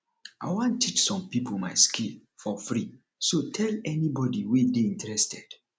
i wan teach some people my skill for free so tell anybody wey dey interested